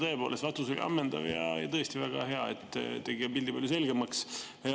Tõepoolest, vastus oli ammendav ja tõesti väga hea, tegi pildi palju selgemaks.